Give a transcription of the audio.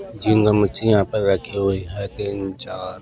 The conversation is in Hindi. झिंगा मच्छी यहाँ पर रखी हुई है तीन-चार--